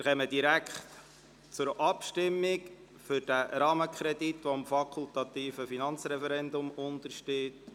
Wir kommen direkt zur Abstimmung über diesen Rahmenkredit, der dem fakultativen Finanzreferendum unterliegt.